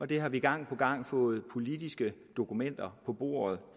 det har vi gang på gang fået politiske dokumenter på bordet